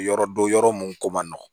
Yɔrɔ dɔ yɔrɔ mun ko man nɔgɔn